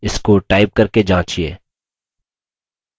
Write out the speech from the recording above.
इसको टाइप करके जाँचिये